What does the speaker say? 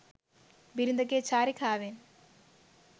බිරිඳ ගේ චාරිකාවෙන්